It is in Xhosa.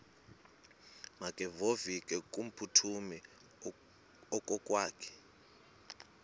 makevovike kumphuthumi okokwakhe